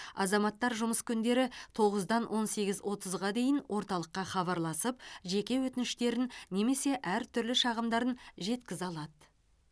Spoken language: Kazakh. азаматтар жұмыс күндері тоғыздан он сегіз отызға дейін орталыққа хабарласып жеке өтініштерін немесе әртүрлі шағымдарын жеткізе алады